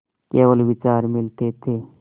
केवल विचार मिलते थे